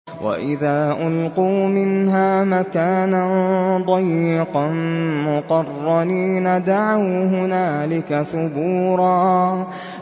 وَإِذَا أُلْقُوا مِنْهَا مَكَانًا ضَيِّقًا مُّقَرَّنِينَ دَعَوْا هُنَالِكَ ثُبُورًا